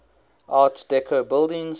art deco buildings